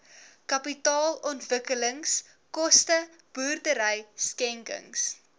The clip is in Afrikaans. kapitaalontwikkelingskoste boerdery skenkings